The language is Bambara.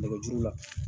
Nɛgɛjuru la